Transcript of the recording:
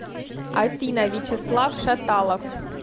афина вячеслав шаталов